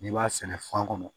N'i b'a sɛnɛ fan kɔnɔ